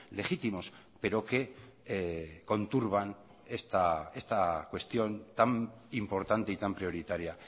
legítimos pero que conturban esta cuestión tan importante y tan prioritaria